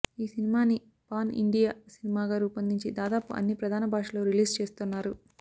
ఈ సినిమాని pan India సినిమాగా రూపొందించి దాదాపు అన్ని ప్రధాన భాషల్లో రిలీజ్ చేస్తున్నారు